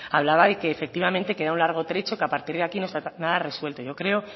hablaba de que efectivamente queda un largo trecho que a partir de aquí no está nada resuelto yo creo